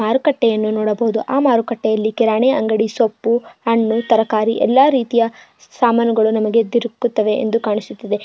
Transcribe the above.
ಮರುಕಟ್ಟೆನ್ನು ನೋಡಬಹುದು ಆ ಮಾರುಕಟ್ಟೆಯಲ್ಲಿ ಕಿರಾಣಿ ಅಂಗಡಿ ಸೊಪ್ಪು ಹಣ್ಣು ತರಕಾರಿ ಎಲ್ಲಾ ರೀತಿಯಾ ಸಾಮಾನುಗಳ್ಳನ್ನುನಮಗೆ ದೊರಕುತ್ತದೆ ಎಂದೂ ಕಾಣಿಸುತ್ತಿದೆ.